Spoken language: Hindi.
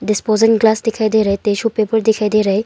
डिस्पोजिंग ग्लास दिखाई दे रहे टिशू पेपर दिखाई दे रहे।